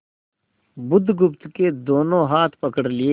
बुधगुप्त के दोनों हाथ पकड़ लिए